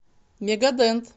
мега дент